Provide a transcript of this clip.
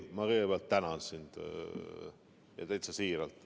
Ma kõigepealt tänan sind, ja täitsa siiralt.